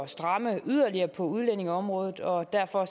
stramme yderligere på udlændingeområdet og derfor